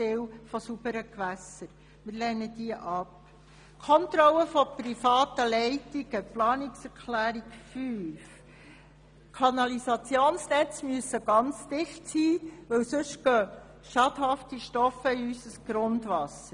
Zur Planungserklärung 5, Kontrolle von privaten Leitungen: Die Kanalisationsnetze müssen ganz dicht sein, denn sonst gelangen Schadstoffe in unser Grundwasser.